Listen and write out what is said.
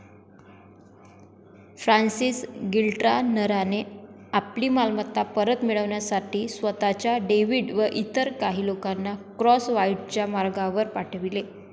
Francis गिल्ट्रानराने आपली मालमत्ता परत मिळण्यासाठी स्वतःचा डेव्हिड व इतर काही लोकांना क्रॉसव्हाईटच्या मागावर पाठविले.